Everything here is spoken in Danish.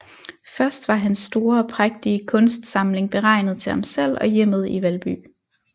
Først var hans store og prægtige kunstsamling beregnet til ham selv og hjemmet i Valby